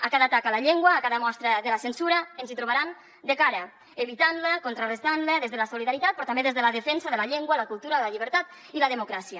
a cada atac a la llengua a cada mostra de la censura ens hi trobaran de cara evitant la contrarestant la des de la solidaritat però també des de la defensa de la llengua la cultura la llibertat i la democràcia